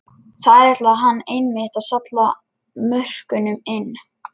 Þar ætlaði hann einmitt að salla mörkunum inn!